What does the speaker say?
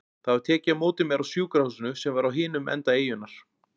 Það var tekið á móti mér á sjúkrahúsinu sem var á hinum enda eyjunnar.